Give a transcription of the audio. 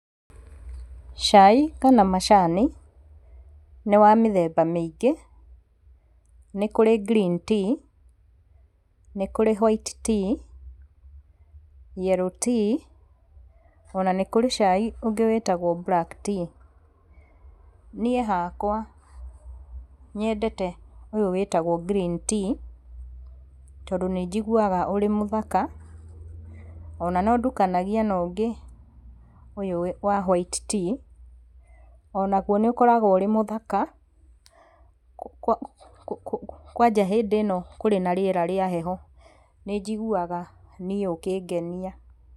Cai kana macani nĩ wa mĩthemba mĩingĩ. Nĩ kũrĩ green tea nĩ kũrĩ white tea , yellow tea ona nĩ kũrĩ cai ũngĩ wĩtagwo black tea. Niĩ hakwa nyendete ũyũ wĩtagwo green tea, tondũ nĩnjiguaga ũrĩ mũthaka. Ona no nĩndukanagia na ũngĩ ũyũ wa white tea, onagu nĩũkoragwo ũrĩ mũthaka, kwanja hĩndĩ ĩno kũrĩ na rĩera rĩa heho, nĩnjiguaga niĩ ũkĩngenia.